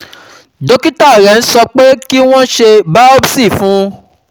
Dókítà rẹ̀ ń so pé kí wọ́n ṣe biopsy fun un